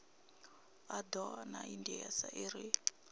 a doa na indas iri